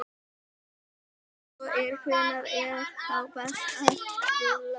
Ef svo er, hvenær er þá best að rúlla?